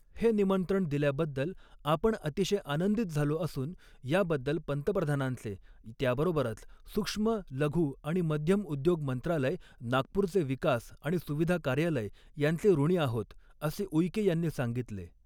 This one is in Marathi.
हे निमंत्रण दिल्याबद्दल आपण अतिशय आनंदित झालो असून याबद्दल पंतप्रधानांचे, त्याबरोबरच सूक्ष्म, लघु आणि मध्यम उद्योग मंत्रालय, नागपूरचे विकास आणि सुविधा कार्यालय यांचे ऋणी आहोत, असे ऊईके यांनी सांगितले.